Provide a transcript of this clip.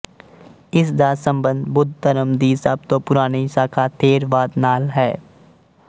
ਇਸ ਦਾ ਸੰਬੰਧ ਬੁੱਧ ਧਰਮ ਦੀ ਸਭ ਤੋਂ ਪੁਰਾਣੀ ਸਾਖਾ ਥੇਰਵਾਦ ਨਾਲ ਹੈ